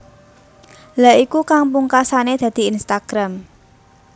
Lha iku kang pungkasane dadi Instagram